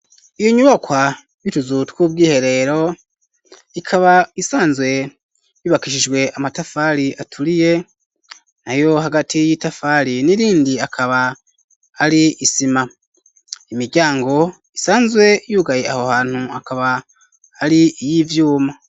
Iyo nyubakwa y'utuzu twubwiherero ikaba isanzwe yubakishijwe amatafari aturiye nayo hagati y'itafari n'irindi akaba ari isima imiryango isanzwe yugaye aho hantu akaba ari iy'ivyuma.